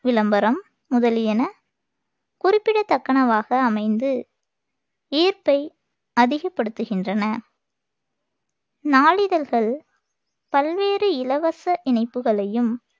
விளம்பரம் முதலியன குறிப்பிடத்தக்கனவாக அமைந்து ஈர்ப்பை அதிகப்படுத்துகின்றன நாளிதழ்கள் பல்வேறு இலவச இணைப்புகளையும்